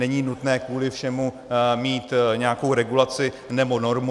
Není nutné kvůli všemu mít nějakou regulaci nebo normu.